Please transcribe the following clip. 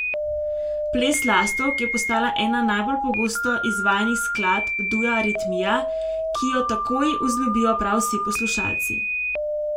Ples lastovk je postala ena najbolj pogosto izvajanih skladb dua Aritmija, ki jo takoj vzljubijo prav vsi poslušalci.